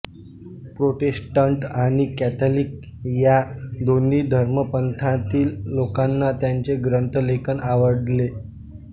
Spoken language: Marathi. प्रोटेस्टंट आणि कॅथलिक ह्या दोन्ही धर्मपंथांतील लोकांना त्याचे ग्रंथलेखन आवडले